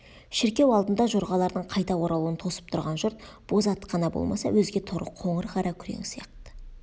шіркеу алдында жорғалардың қайта оралуын тосып тұрған жұрт боз ат қана болмаса өзге торы қоңыр қара күрең сияқты